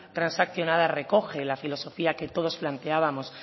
transaccionada recoge la filosofía que todos planteábamos